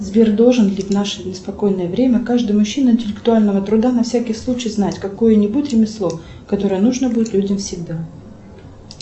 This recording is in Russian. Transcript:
сбер должен ли в наше неспокойное время каждый мужчина интеллектуального труда на всякий случай знать какое нибудь ремесло которое нужно будет людям всегда